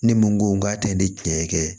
Ne mun ko n k'a tɛ ne tiɲɛ kɛ